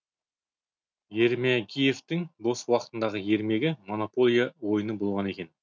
ермегиевтің бос уақытындағы ермегі монополия ойыны болған екен